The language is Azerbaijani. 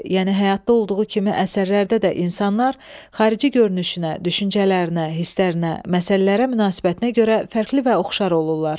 Yəni həyatda olduğu kimi əsərlərdə də insanlar xarici görünüşünə, düşüncələrinə, hisslərinə, məsələlərə münasibətinə görə fərqli və oxşar olurlar.